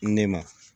Ne ma